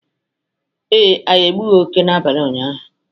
ee, anyị egbughị oke n’abalị ụnyaahụ